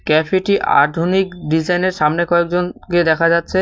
ক্যাফেটি আধুনিক ডিজাইনের সামনে কয়েকজনকে দেখা যাচ্ছে।